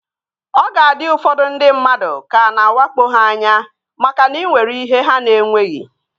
Ọ ga-adị ụfọdụ ndị mmadụ ka a na-awakpo ha anya makana ị nwere ihe ha na-enweghị